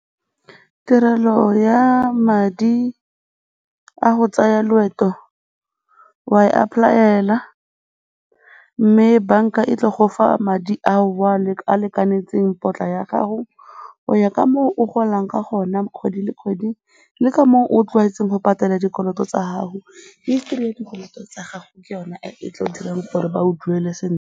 Tirelo ya madi a go tsaya loeto o a e apply-ela mme banka e tla go fa madi ao a lekanetseng potla ya gago go ya ka moo o golang ka gona kgwedi le kgwedi le ka moo o tlwaetseng go patela dikoloto tsa gago. History ya dikoloto tsa gago ke yone e tla dirang gore ba go duele sentle.